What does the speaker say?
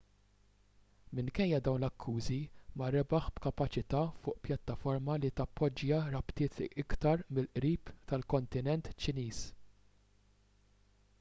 minkejja dawn l-akkużi ma rebaħ b'kapaċità fuq pjattaforma li tappoġġja rabtiet iktar mill-qrib mal-kontinent ċiniż